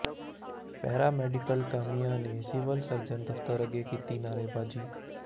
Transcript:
para medical ਕਾਮਿਆਂ ਨੇ civil surgeon ਦਫ਼ਤਰ ਅੱਗੇ ਕੀਤੀ ਨਾਅਰੇਬਾਜ਼ੀ